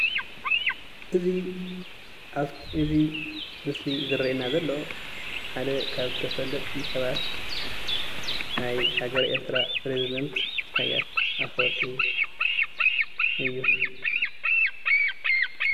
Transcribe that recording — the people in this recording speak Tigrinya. እዚ ኣፍቲ ምስሊ ዝርአየና ዘሎ ሓደ ካብ ተፈለጥቲ ሰባት ናይ ሃገረ ኤርትራ ፕረዚዳንት ኣቶ ኢሳያስ ኣፎወርቂ እዩ።